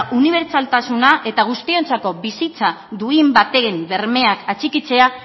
unibertsaltasuna eta guztientzako bizitza duin baten bermeak atxikitzea